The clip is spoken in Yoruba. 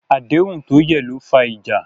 Àdéhùn tó yẹ̀ ló fa ìjà.